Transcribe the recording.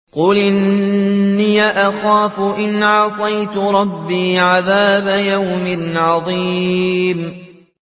قُلْ إِنِّي أَخَافُ إِنْ عَصَيْتُ رَبِّي عَذَابَ يَوْمٍ عَظِيمٍ